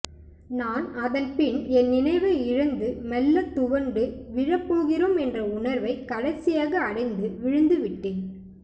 நான் அதன்பின் என் நினைவை இழந்து மெல்ல துவண்டு விழப்போகிறோம் என்ற உணர்வை கடைசியாக அடைந்து விழுந்துவிட்டேன்